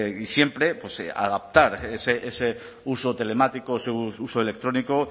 y siempre pues adaptar ese uso telemático su uso electrónico